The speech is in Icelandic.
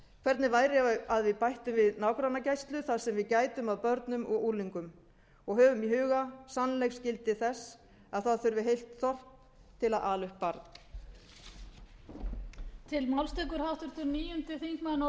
hvernig væri að við bættum við nágrannagæslu þar sem við gætum að börnum og unglingum og höfum í huga sannleiksgildi þess að það þurfi heilt þorp til að ala upp barn